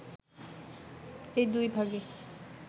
এই দুই ভাগে